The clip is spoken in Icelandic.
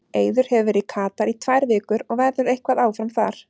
Eiður hefur verið í Katar í tvær vikur og verður eitthvað áfram þar.